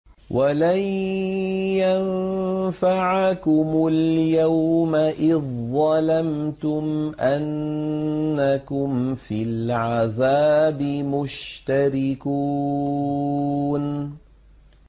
وَلَن يَنفَعَكُمُ الْيَوْمَ إِذ ظَّلَمْتُمْ أَنَّكُمْ فِي الْعَذَابِ مُشْتَرِكُونَ